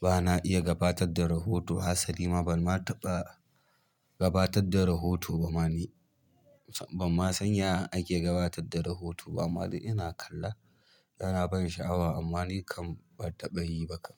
Ba na iya gatabar da rahoto, hasali ma ban ma taɓa gabatar da rahoto ba ma ni, ban ma san yanda ake gabatar da rahota ba amma dai in. Ina kalla ya na ban sha'awa amma ni kam ban taɓa yi ba kam.